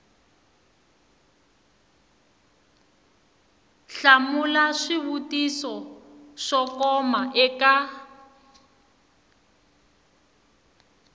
hlamula swivutiso swo koma eka